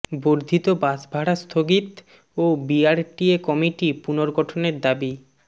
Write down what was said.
বর্ধিত বাস ভাড়া স্থগিত ও বিআরটিএ কমিটি পুনর্গঠনের দাবি